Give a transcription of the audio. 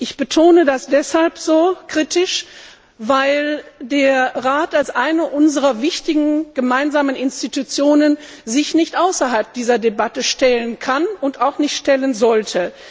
Ich betone das deshalb so kritisch, weil sich der Rat als eine unserer wichtigen Gemeinschaftsinstitutionen nicht außerhalb dieser Debatte stellen kann und auch nicht stellen sollte.